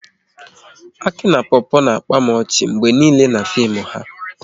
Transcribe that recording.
Aki na Popo na-akpa m ọchị mgbe nile n'fim ha